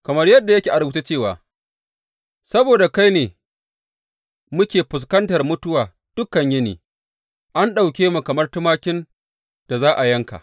Kamar yadda yake a rubuce cewa, Saboda kai ne muke fuskantar mutuwa dukan yini; an ɗauke mu kamar tumakin da za a yanka.